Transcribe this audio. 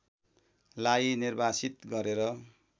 लाई निर्वासित गरेर